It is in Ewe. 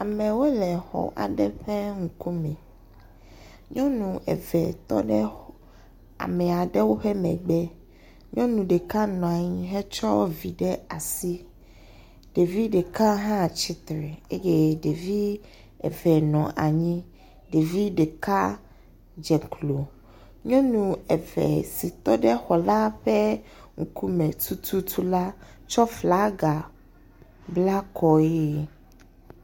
Amewo le xɔ aɖe ƒe ŋkume. Nyɔnu eve tɔ ɖe ame aɖewo ƒe megbe. Nyɔnu ɖeka nɔ anyi hetaɔ vi ɖe asi, ɖevi ɖeka hã tsitre eye ɖevi eve nɔ anyi eye ɖevi ɖeka dze klo, nyenu eve si tɔ ɖe xɔ la ƒe ŋkume tututu la tsɔ flaga bla kɔe.